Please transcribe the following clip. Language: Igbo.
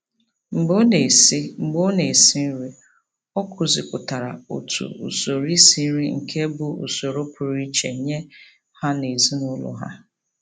Mgbe ọ na-esi Mgbe ọ na-esi nri, ọ kụzipụtara otu usoro isi nri nke bụ usoro pụrụ iche nye ha n'ezinaụlọ ha.